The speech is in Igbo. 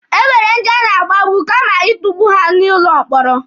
E nwere ndi a na-agbagbu kama itukpu ha n'ụlọ mkpọrọ.